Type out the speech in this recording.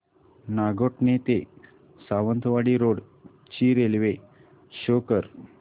नागोठणे ते सावंतवाडी रोड ची railway show कर